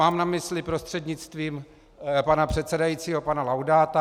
Mám na mysli - prostřednictvím pana předsedajícího - pana Laudáta.